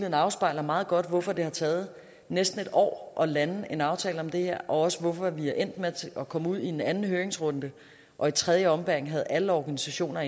afspejler meget godt hvorfor det har taget næsten et år at lande en aftale om det her og også hvorfor vi er endt med at komme ud i en anden høringsrunde og i tredje ombæring havde alle organisationer